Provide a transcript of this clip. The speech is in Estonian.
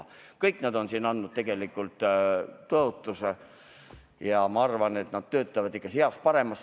Aga tegelikult on kõik need inimesed andnud siin tõotuse ja ma arvan, et nad töötavad ikka heas-paremas.